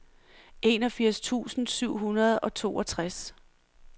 enogfirs tusind syv hundrede og toogtres